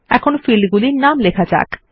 এখন ফিল্ড নামগুলি লেখা যাক